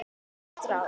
Gott ráð.